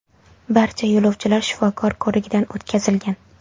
Barcha yo‘lovchilar shifokor ko‘rigidan o‘tkazilgan.